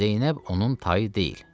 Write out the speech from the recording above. Zeynəb onun tayı deyil.